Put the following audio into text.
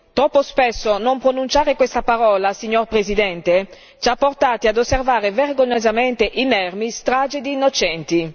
Troppo spesso non pronunciare questa parola, signor Presidente, ci ha portati ad osservare, vergognosamente inermi, stragi di innocenti.